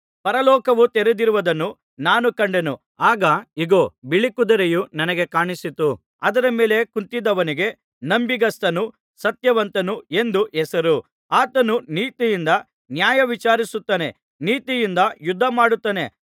ಪರಲೋಕವು ತೆರೆದಿರುವುದನ್ನು ನಾನು ಕಂಡೆನು ಆಗ ಇಗೋ ಬಿಳೀ ಕುದುರೆಯು ನನಗೆ ಕಾಣಿಸಿತು ಅದರ ಮೇಲೆ ಕುಳಿತಿದ್ದವನಿಗೆ ನಂಬಿಗಸ್ತನು ಸತ್ಯವಂತನು ಎಂದು ಹೆಸರು ಆತನು ನೀತಿಯಿಂದ ನ್ಯಾಯವಿಚಾರಿಸುತ್ತಾನೆ ನೀತಿಯಿಂದ ಯುದ್ಧಮಾಡುತ್ತಾನೆ